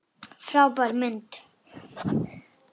Frábær mynd!